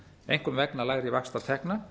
einkum vegna lægri vaxtatekna